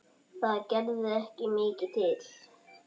Það gerði ekki mikið til.